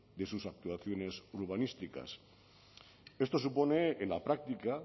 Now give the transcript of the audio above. de sus actuaciones urbanísticas esto supone en la práctica